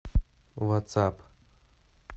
ватсап